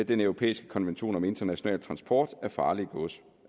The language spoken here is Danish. den europæiske konvention om international transport af farligt gods